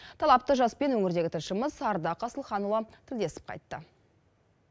талапты жаспен өңірдегі тілшіміз ардақ асылханұлы тілдесіп қайтты